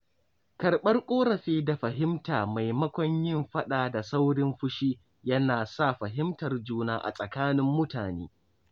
Karɓar ƙorafi da fahimta maimakon yin faɗa da saurin fushi yana sa fahimtar juna a tsakanin mutane.